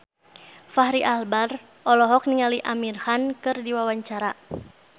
Fachri Albar olohok ningali Amir Khan keur diwawancara